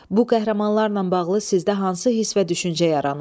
Bu qəhrəmanlarla bağlı sizdə hansı hiss və düşüncə yaranıb?